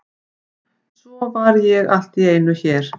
Svo var ég allt í einu hér.